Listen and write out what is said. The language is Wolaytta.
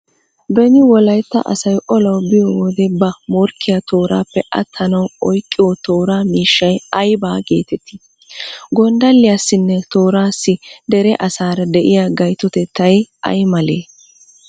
Beni Wolaytta asay olawu biyo wode ba morkkiya tooraappe attanawu oyqqiyo tooraa miishshay ayba geetettii? Gonddalliyassinne tooraassi dere asaara de'iya gaytotettay ay malee?